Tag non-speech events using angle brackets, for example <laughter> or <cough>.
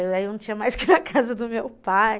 Aí eu não tinha mais que ir <laughs> na casa do meu pai.